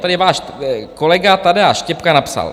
Tady váš kolega Tadeáš Štěpka napsal.